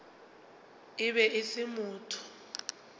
e be e se motho